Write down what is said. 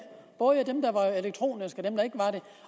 både dem der var elektroniske